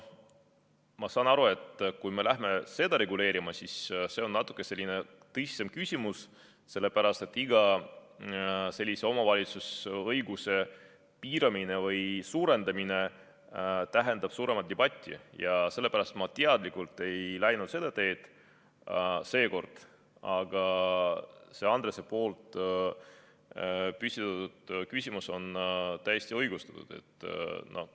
Ma saan aru, et kui me läheme seda reguleerima, siis see on natuke tõsisem küsimus, sellepärast et iga omavalitsusõiguse piiramine või suurendamine tähendab suuremat debatti ja sellepärast me teadlikult ei läinud seda teed seekord, aga Andrese püstitatud küsimus on täiesti õigustatud.